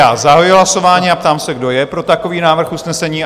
Já zahajuji hlasování a ptám se, kdo je pro takový návrh usnesení?